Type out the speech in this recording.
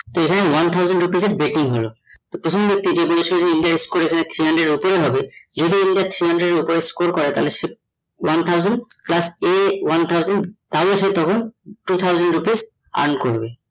এই ভাবে one thousand rupees এর betting হল তো প্রথম ব্যাক্তি যদি এসে India এর score এখানে three hundred এর ওপরে হবে, যদি India three hundred এর ওপরে করে তাহলে one thousand plus A one thousand তাহলে সে তখন two thousand rupees earn করবে